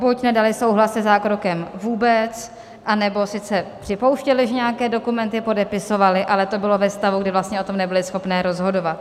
Buď nedaly souhlas se zákrokem vůbec, anebo sice připouštěly, že nějaké dokumenty podepisovaly, ale to bylo ve stavu, kdy vlastně o tom nebyly schopné rozhodovat.